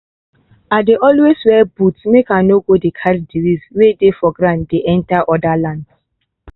i dey always wear boots make i no go dey carry disease way dey for ground dey enter other lands